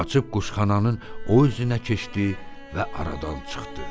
Qaçıb quşxananın o üzünə keçdi və aradan çıxdı.